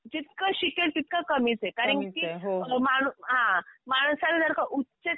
जितकं शिकेल तितकं कमीच ये कारण की हां माणसाला जर का उच्च